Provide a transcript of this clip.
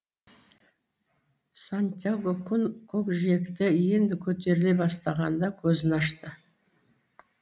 сантьяго күн көкжиектен енді көтеріле бастағанда көзін ашты